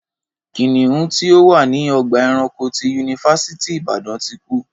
Kìnìún tí ó wà ní ọgbà ẹranko ti yunifásítì Ìbàdàn ti kú